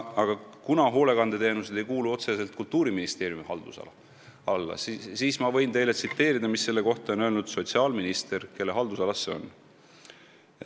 AS Hoolekandeteenused ei kuulu otseselt Kultuuriministeeriumi halduse alla, aga ma võin teile tsiteerida, mida selle kohta on öelnud sotsiaalminister, kelle haldusalas see on.